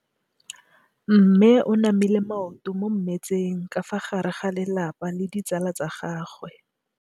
Mme o namile maoto mo mmetseng ka fa gare ga lelapa le ditsala tsa gagwe.